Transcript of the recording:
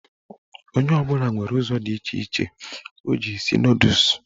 Onye ọbụla nwere ụzọ dị iche iche o ji esi nọdụs